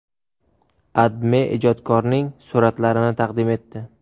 AdMe ijodkorning suratlarini taqdim etdi .